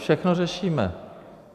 Všechno řešíme.